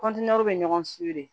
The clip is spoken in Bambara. bɛ ɲɔgɔn de